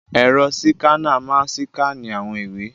Ẹ̀rọ síkánà máa síkánì àwọn ìwé.